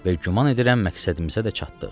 Və güman edirəm məqsədimizə də çatdıq.